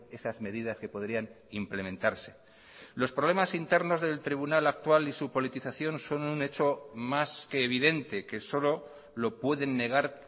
esas medidas que podrían implementarse los problemas internos del tribunal actual y su politización son un hecho más que evidente que solo lo pueden negar